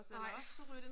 Nej